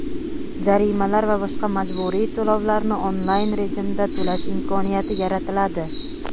jarimalar va boshqa majburiy to‘lovlarni onlayn rejimda to‘lash imkoniyati yaratiladi.